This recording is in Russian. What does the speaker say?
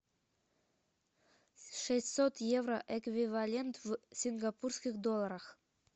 шестьсот евро эквивалент в сингапурских долларах